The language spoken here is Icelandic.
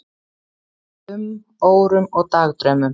um, órum og dagdraumum.